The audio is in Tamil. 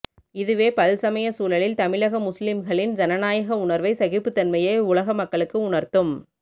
இதுவே பல்சமயசூழலில்தமிழக முஸ்லிம்களின் ஜனநாயக உணர்வை சகிப்புத்தன்மையை உலக மக்களுக்கு உணர்த்தும்